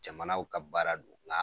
Jamanaw ka baara do nka